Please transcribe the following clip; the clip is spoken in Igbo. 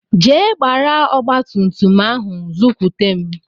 Jee gbara ọgbatumtum ahụ zukwute m!